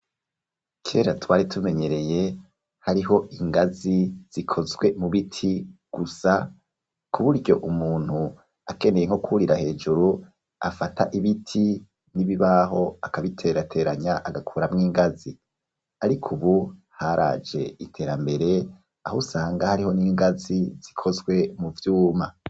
Kera twari tumenyereye hariho ingazi zikozwe mu biti gusa ku buryo umuntu akeneye nko kurira hejuru afata ibiti n'ibibaho akabiterateranya agakuramwo ingazi, ariko ubu haraje iterambere aho usanga hariho n'ingazi zikozwe mu vyuma.